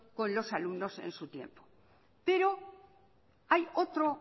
con los alumnos en su tiempo pero hay otro